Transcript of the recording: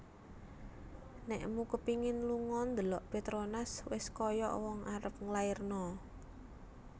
Nekmu kepingin lungo ndelok Petronas wes koyok wong arep nglairno